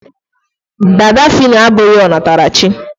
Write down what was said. dada fino abụghị ọ natara chi